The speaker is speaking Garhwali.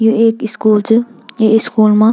यु एक स्कूल च ये स्कूल मा --